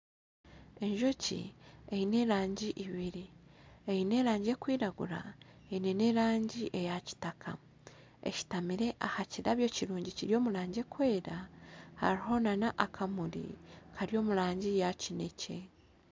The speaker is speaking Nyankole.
Enjoki eine erangi ibiri eine erikwiragura, eine erangi eyakitaka eshutamire aha kimuri kirungi kiri omu rangi erikwera hariho nana akamuri kari omu rangi eya kineekye